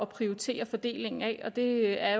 prioritere fordelingen af det er